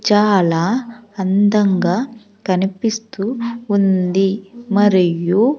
చాలా అందంగా కనిపిస్తూ ఉంది మరియు.